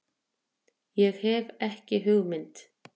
Ég hef ekki hugmynd.